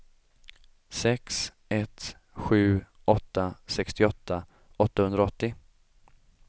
sex ett sju åtta sextioåtta åttahundraåttio